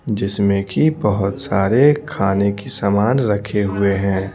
जिसमें कि बहुत सारे खाने की सामान रखे हुए हैं।